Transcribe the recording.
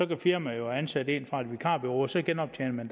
kan firmaet jo ansætte en fra et vikarbureau så genoptjener